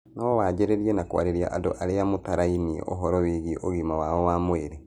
No wanjĩrĩrie na kwarĩria andũ arĩa mũtarainie ũhoro wĩgie ũgima wao wa mwĩrĩ.